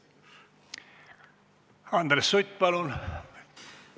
Andres Sutt, palun!